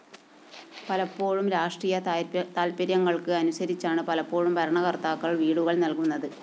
പലപ്പോഴും രാഷ്ട്രീയ തല്‍പ്പര്യങ്ങള്‍ക്ക് അനുതരിച്ചാണ് പലപ്പോഴും ഭരണകര്‍ത്താക്കള്‍ വീടുകള്‍ നല്‍കുന്നത്